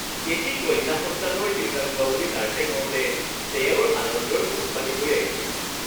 এটি কন্যা সন্তানৰ দেউতাক হোৱা বুলি নাৰ্ছে কওঁতে তেওঁৰ আনন্দৰ চকুপানী বৈ আহিছিল